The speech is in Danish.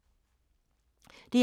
DR2